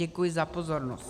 Děkuji za pozornost.